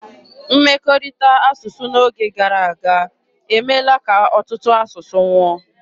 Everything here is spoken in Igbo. Mmekọrịta asụsụ n'oge gara aga emeela ka ọtụtụ asụsụ nwụọ.